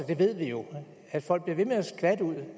det ved vi jo at folk bliver ved med at skvatte ud